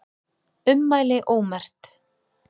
Ummæli ómerkt